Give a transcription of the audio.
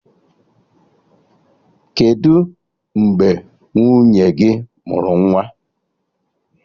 Kedụ mgbe nwunye gị mụrụ nwa?